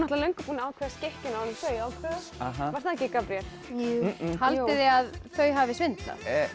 löngu búin að ákveða skikkjuna áður en þau ákváðu var það ekki Gabríel jú haldið þið að þau hafi svindlað